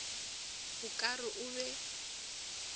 o ka re o be